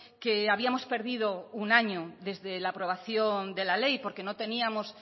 que habíamos perdido un año desde la aprobación de la ley porque no teníamos